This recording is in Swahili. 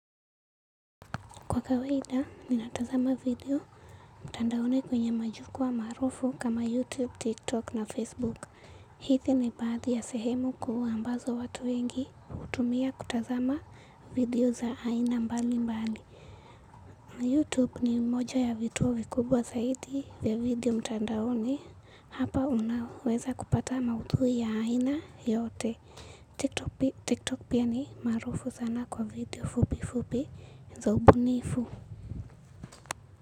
Kwa kawaida, ninatazama video mtandaoni kwenye majukwa maarufu kama YouTube, TikTok na Facebook. Hizi ni baadhi ya sehemu kuu ambazo watu wengi hutumia kutazama video za aina mbali mbali. YouTube ni moja ya vituo vikubwa zaidi vya video mtandaoni. Hapa unaweza kupata maudhui ya aina yote. TikTok pia ni maarufu sana kwa video fupi fupi za ubunifu.